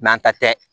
N'an ta tɛ